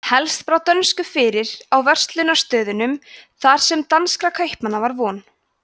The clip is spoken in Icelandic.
helst brá dönsku fyrir á verslunarstöðunum þar sem danskra kaupmanna var von